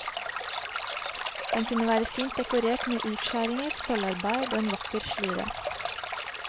Den kunne være fint dekorert med utskjæringer, sølvarbeid og en vakker slire.